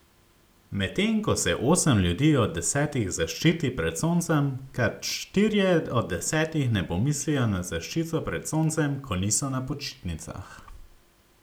Medtem ko se osem ljudi od desetih zaščiti pred soncem, kar štirje od desetih ne pomislijo na zaščito pred soncem, ko niso na počitnicah.